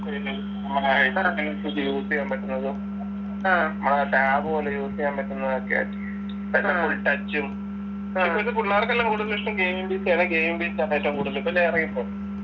നമ്മളെ ഇത് അനുസരിച്ച് use എയ്യാൻ പറ്റുന്നതും നമ്മളെ tab പോലെ use എയ്യാൻ പറ്റുന്നതൊക്കെ ആയിട്ട് പിന്നെ full touch ഉം ഇപ്പഴത്തെ പുള്ളാർക്കെല്ലാം കൂടുതലിഷ്ടം gamingPC യാണ് gamingPC യാണ് ഏറ്റവും കൂടുതല് ഇപ്പൊ